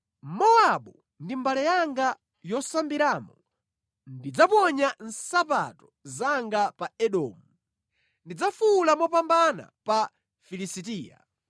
Mowabu ndi mbale yanga yosambiramo ndidzaponya nsapato zanga pa Edomu; ndidzafuwula mopambana pa Filisitiya.”